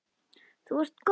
Þú ert góð!